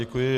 Děkuji.